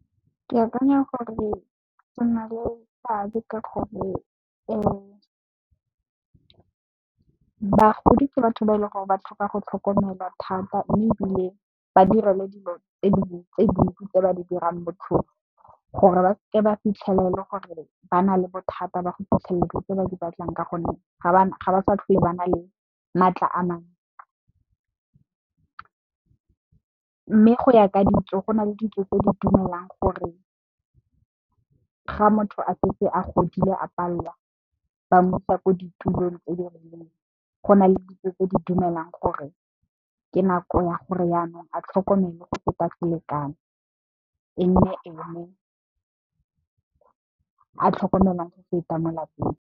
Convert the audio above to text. Ke akanya gore di na le seabe ka gore bagodi ke batho ba e leng gore ba tlhoka go tlhokomelwa thata mme, ebile ba direlwe dilo tse dingwe tse dintsi tse ba di dirang botlhofo gore ba seke ba fitlhela e le gore ba na le bothata ba go fitlhelela dilo tse ba di batlang ka gonne ga ba sa tlhole ba na le maatla a mangwe. Mme, go ya ka ditso go na le ditso tse di dumelang gore ga motho a setse a godile a palelwa ba mo isa ko ditulong tse dirileng, go na le ditso tse di dumelang gore ke nako ya gore yanong a tlhokomelwe go feta selekano e nne ene a tlhokomelwang go feta mo lapeng.